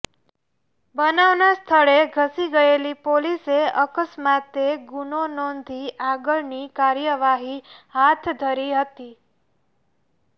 બનાવના સ્થળે ધસી ગયેલી પોલીસે અકસ્માતે ગુનો નોંધી આગળની કાર્યવાહી હાથ ધરી હતી